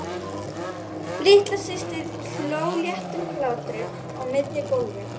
Litla systir hló léttum hlátri á miðju gólfi.